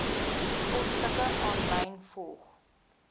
posstukke aanlyn volg